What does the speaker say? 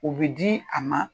O bɛ di a ma